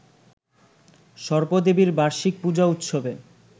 সর্পদেবীর বার্ষিক পূজা উৎসবে